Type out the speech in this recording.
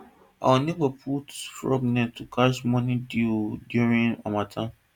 one neighbour put fog net to catch morning dew during harmattan